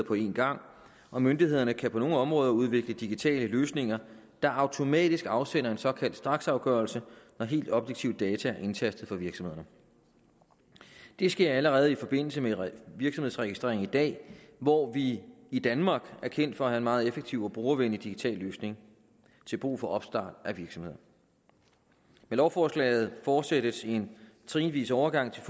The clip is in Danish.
på en gang og myndighederne kan på nogle områder udvikle digitale løsninger der automatisk afsender en såkaldt straksafgørelse når helt objektive data er indtastet for virksomhederne det sker allerede i forbindelse med virksomhedsregistrering i dag hvor vi i danmark er kendt for at meget effektiv og brugervenlig digital løsning til brug for opstart af virksomheder med lovforslaget fortsættes en trinvis overgang til